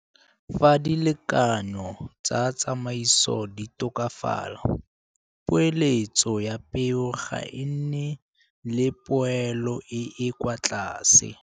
Fa dilekanyo tsa tsamaiso di tokafala, poeletso ya peo ga e nne le poelo e e kwa tlase.